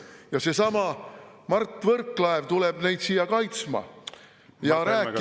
Ja seesama Mart Võrklaev tuleb neid siia kaitsma ja rääkima …